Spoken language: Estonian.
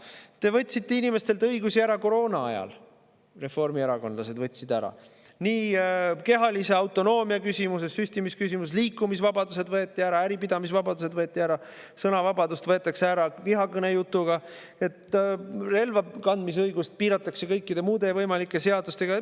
Reformierakondlased võtsid inimestelt õigusi ära koroonaajal kehalise autonoomia küsimuses, süstimisküsimuses, liikumisvabadus võeti ära, äripidamise vabadused võeti ära, sõnavabadus võetakse ära vihakõnejutuga, relva kandmise õigust piiratakse kõikide muude võimalike seadustega.